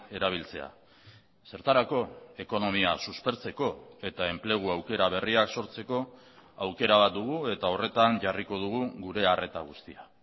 erabiltzea zertarako ekonomia suspertzeko eta enplegu aukera berriak sortzeko aukera bat dugu eta horretan jarriko dugu gure arreta guztia